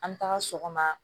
An bɛ taga sɔgɔma